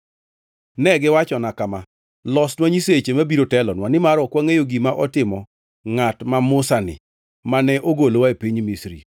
Ne giwachona kama, ‘Losnwa nyiseche mabiro telonwa, nimar ok wangʼeyo gima otimo ngʼat ma Musa-ni mane ogolowa e piny Misri.’